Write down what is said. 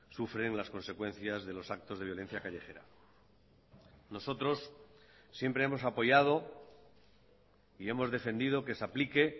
sufren las consecuencias de los actos de violencia callejera nosotros siempre hemos apoyado y hemos defendido que se aplique